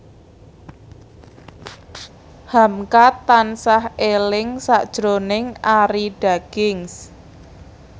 hamka tansah eling sakjroning Arie Daginks